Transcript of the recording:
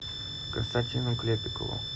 константину клепикову